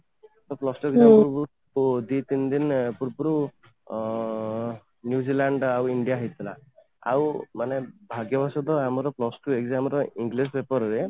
ତ plus two exam ପୂର୍ବରୁ ଦି ତିନି ଦିନ ପୂର୍ବରୁ ଅଂ New Zealand ଆଉ india ହେଇଥିଲା ଆଉ ମାନେ ଭାଗ୍ୟ ବଶତଃ ଆମର plus two exam ର english paper ରେ